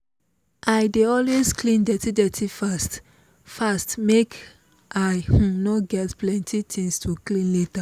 i dey always clean dirty dirty fast fast make i um no get plenty things to clean later